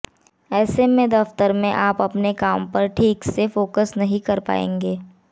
ऐसे में दफ्तर में आप अपने काम पर ठीक से फोकस नहीं कर पाएंगे